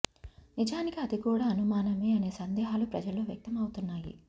నిజానికి అది కూడా అనుమానమే అనే సందేహాలు ప్రజల్లో వ్యక్తం అవుతున్నాయి